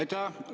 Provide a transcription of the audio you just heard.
Aitäh!